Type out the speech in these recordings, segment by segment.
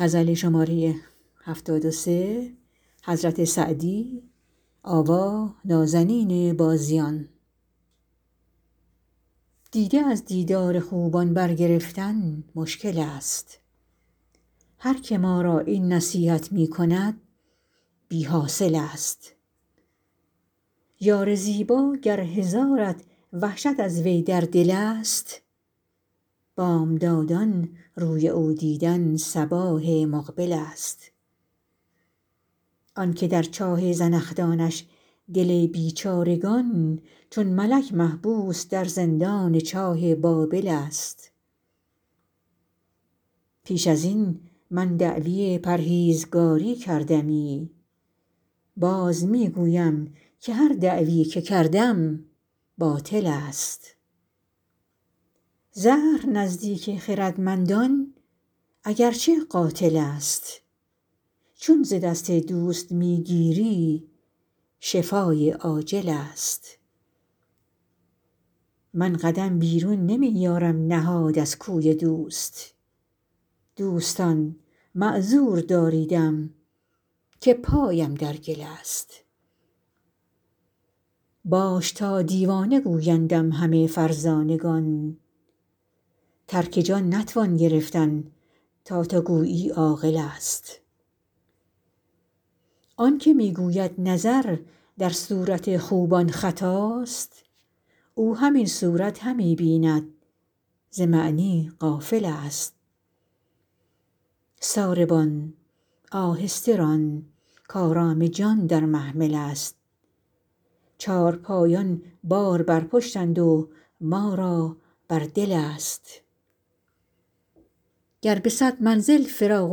دیده از دیدار خوبان برگرفتن مشکل ست هر که ما را این نصیحت می کند بی حاصل ست یار زیبا گر هزارت وحشت از وی در دل ست بامدادان روی او دیدن صباح مقبل ست آن که در چاه زنخدانش دل بیچارگان چون ملک محبوس در زندان چاه بابل ست پیش از این من دعوی پرهیزگاری کردمی باز می گویم که هر دعوی که کردم باطل ست زهر نزدیک خردمندان اگر چه قاتل ست چون ز دست دوست می گیری شفای عاجل ست من قدم بیرون نمی یارم نهاد از کوی دوست دوستان معذور داریدم که پایم در گل ست باش تا دیوانه گویندم همه فرزانگان ترک جان نتوان گرفتن تا تو گویی عاقل ست آن که می گوید نظر در صورت خوبان خطاست او همین صورت همی بیند ز معنی غافل ست ساربان آهسته ران کآرام جان در محمل ست چارپایان بار بر پشتند و ما را بر دل ست گر به صد منزل فراق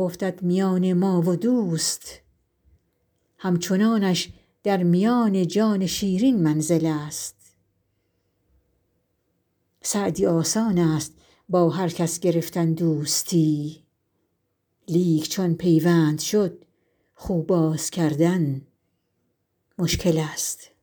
افتد میان ما و دوست همچنانش در میان جان شیرین منزل ست سعدی آسان ست با هر کس گرفتن دوستی لیک چون پیوند شد خو باز کردن مشکل ست